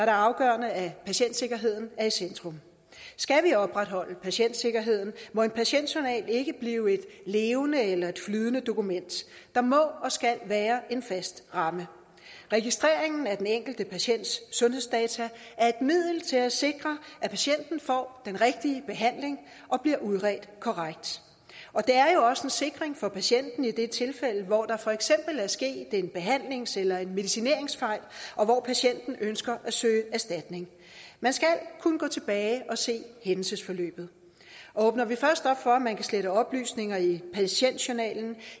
afgørende at patientsikkerheden er i centrum skal vi opretholde patientsikkerheden må en patientjournal ikke blive et levende eller flydende dokument der må og skal være en fast ramme registreringen af den enkelte patients sundhedsdata er et middel til at sikre at patienten får den rigtige behandling og bliver udredt korrekt det er jo også en sikring for patienten i det tilfælde hvor der for eksempel er sket en behandlings eller en medicineringsfejl og hvor patienten ønsker at søge erstatning man skal kunne gå tilbage og se hændelsesforløbet åbner vi først op for at man kan slette oplysninger i patientjournalen